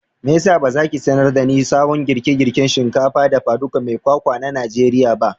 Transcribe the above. meyasa bazaki sanar dani sabon girkin girkin shinkafa dafa ɗuka mai kwakwa na najeriya ba?